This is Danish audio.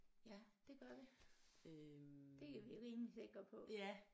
Ja det gør vi det er vi rimelig sikre på